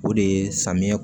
O de ye samiyɛ